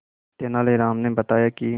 तेनालीराम ने बताया कि